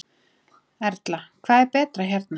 Erla: Hvað er betra hérna?